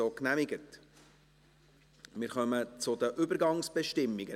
Wir kommen zu den Übergangsbestimmungen.